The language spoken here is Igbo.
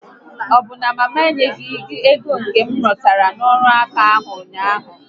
Ọbụ na mama enyeghị gị ego m retara n'ọrụ ǹkà ahụ ụnyaahụ?